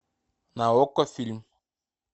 на окко фильм